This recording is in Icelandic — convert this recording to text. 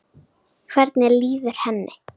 Hvernig líður henni?